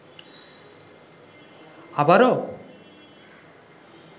আবারো